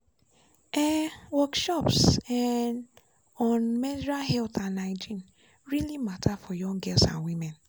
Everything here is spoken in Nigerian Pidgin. um workshops um on menstrual health and hygiene really matter for young girls and women.